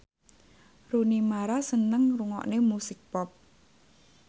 Rooney Mara seneng ngrungokne musik pop